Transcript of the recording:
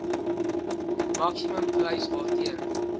maksimum prys waarteen